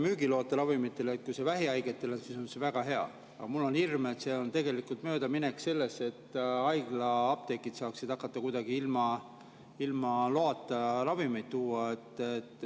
Kui see on vähihaigetele, siis on see väga hea, aga mul on hirm, et see on tegelikult möödaminek, selleks et haiglaapteegid saaksid hakata kuidagi ilma loata ravimeid sisse tooma.